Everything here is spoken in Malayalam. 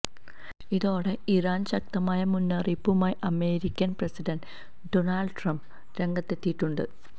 ഇതോടെ ഇറാന് ശക്തമായ മുന്നറിയിപ്പുമായി അമേരിക്കന് പ്രസിഡന്റ് ഡൊണാള്ഡ് ട്രംപ് രംഗത്തെത്തിയിട്ടുണ്ട്